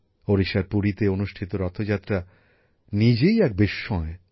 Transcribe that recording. ওড়িশার পুরীতে অনুষ্ঠিত রথযাত্রা নিজেই এক বিস্ময়